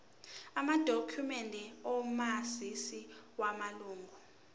amadokhumende omazisi wamalunga